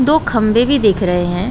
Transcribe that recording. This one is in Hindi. दो खम्भे भी दिख रहे हैं।